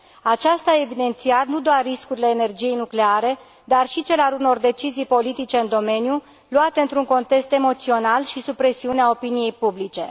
Aceasta a evidențiat nu doar riscurile energiei nucleare, dar și cel al unor decizii politice în domeniu luate într un context emoțional și sub presiunea opiniei publice.